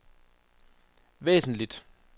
væsentlig